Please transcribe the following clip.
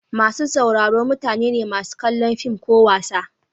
Masu sauraro mutane ne masu kallon fim ko wasa.